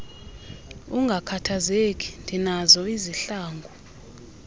ungakhathazeki ndinazo izihlangu